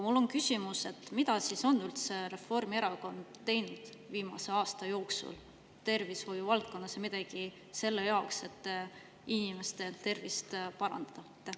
Mul on küsimus: mida üldse on Reformierakond teinud viimase aasta jooksul tervishoiuvaldkonnas selle jaoks, et inimeste tervist parandada?